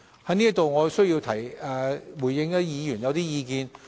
在此，我要回應議員的意見。